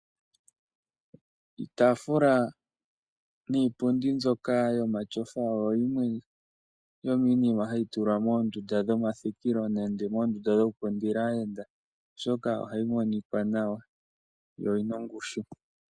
Iitafula niipundi mbyoka yomatyofa oyo yimwe yomiinima hayi tula moondunda dhomathikilo nenge moondunda dho kukundila aayenda oshoka ohayi monika nawa yo oyina ongushu.